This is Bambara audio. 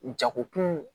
Jagokun